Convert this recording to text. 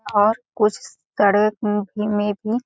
और कुछ सड़क में भी --